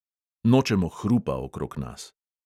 Nočemo hrupa okrog nas.